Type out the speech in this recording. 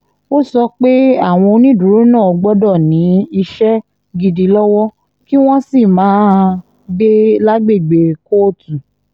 ó sọ pé àwọn onídùúró náà gbọ́dọ̀ ní iṣẹ́ gidi lọ́wọ́ kí wọ́n sì máa gbé lágbègbè kóòtù